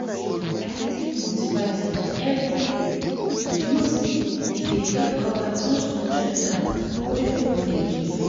i dey take multivitamin every day you know say e dey help cover those nutrient gap wey food no dey give